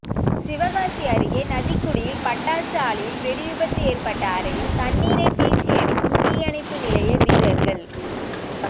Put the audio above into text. சிவகாசி அருகே நதிக்குடியில் பட்டாசு ஆலையில் வெடிவிபத்து ஏற்பட்ட அறையில் தண்ணீரை பீச்சிஅடிக்கும் தீயணைப்பு நிலைய வீரா்கள்